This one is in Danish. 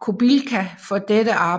Kobilka for dette arbejde